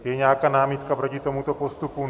Je nějaká námitka proti tomuto postupu?